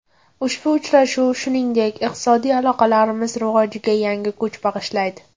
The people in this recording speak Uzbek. Ushbu uchrashuv, shuningdek, iqtisodiy aloqalarimiz rivojiga yangi kuch bag‘ishlaydi.